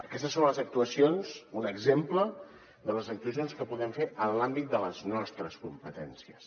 aquestes són les actuacions un exemple de les actuacions que podem fer en l’àmbit de les nostres competències